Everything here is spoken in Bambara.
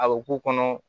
A bɛ k'u kɔnɔ